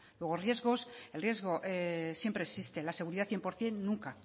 luego riesgos el riesgo siempre existe la seguridad cien por ciento nunca